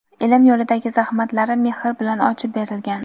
ilm yo‘lidagi zahmatlari mehr bilan ochib berilgan.